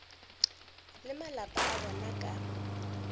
le malapa a bona ka